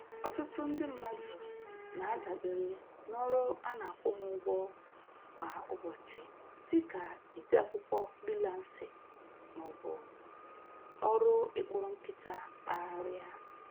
Ọtụtụ ndị mmadụ na-adabere n'ọrụ ana-akwụ ha ụgwọ kwa ụbọchị, dị ka ide akwụkwọ frilansị ma ọ bụ ọrụ ị kpụrụ nkịta kpagharị a.